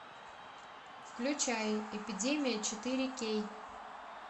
включай эпидемия четыре кей